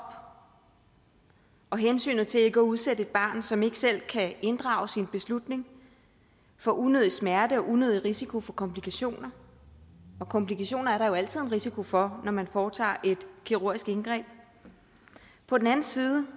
og hensynet til ikke at udsætte et barn som ikke selv kan inddrages i en beslutning for unødig smerte og unødig risiko for komplikationer og komplikationer er der jo altid en risiko for når man foretager et kirurgisk indgreb på den anden side